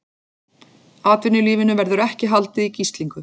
Atvinnulífinu verði ekki haldið í gíslingu